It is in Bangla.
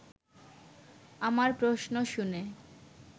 আমার প্রশ্ন শুনে